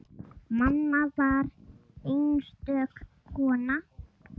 Mamma var einstök kona.